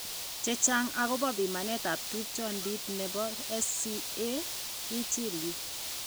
Chechang' akobo pimanetab tupchondit nebo SCA, ichil yu.